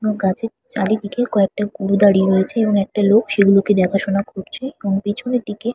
আ গাছের চারিদিকে কয়েকটা গরু দাঁড়িয়ে রয়েছে এবং একটা লোক সেগুলোকে দেখাশোনা করছে এবং পিছনের দিকে--